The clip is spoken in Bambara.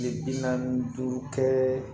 Kile bi naani ni duuru kɛ